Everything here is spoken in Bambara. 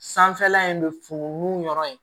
Sanfɛla in bɛ funu yɔrɔ ye